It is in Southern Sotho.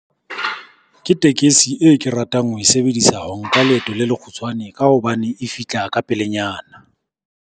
Ke tekesi e ke ratang ho e sebedisa ho nka leeto le lekgutshwane ka hobane e fihla ka pelenyana.